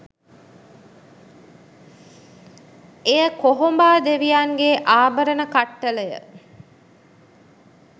එය කොහොඹා දෙවියන්ගේ ආභරණ කට්ටලය